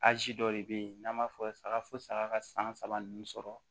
Azi dɔ de bɛ ye n'an b'a fɔ saga fo saga ka san saba ninnu sɔrɔ